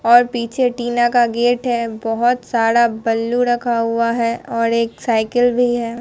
और पीछे टीना का गेट है बहोत सारा बल्लू रखा हुआ है और एक साइकिल भी है।